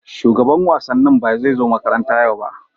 shugaban wasannin bai zo makaranta yau ba.